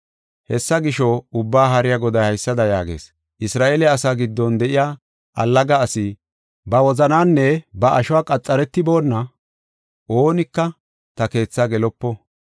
Hessa gisho, Ubbaa Haariya Goday haysada yaagees: “Isra7eele asaa giddon de7iya allaga asi, ba wozananinne ba ashuwa qaxaretiboona, oonika ta keetha gelopo.”